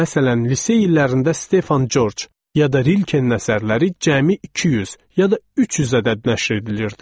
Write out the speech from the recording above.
Məsələn, lisey illərində Stefan Corc, ya da Rilkenin əsərləri cəmi 200, ya da 300 ədəd nəşr edilirdi.